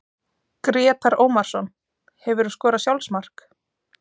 Grétar Ómarsson Hefurðu skorað sjálfsmark?